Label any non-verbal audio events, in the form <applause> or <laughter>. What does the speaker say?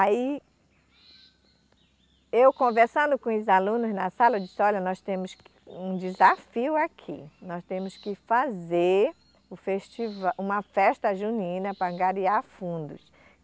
Aí, eu conversando com os alunos na sala, eu disse, olha, nós temos que um desafio aqui, nós temos que fazer um <unintelligible> uma festa junina para angariar fundos.